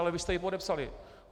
Ale vy jste ji podepsali.